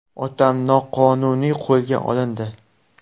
Otam noqonuniy qo‘lga olindi .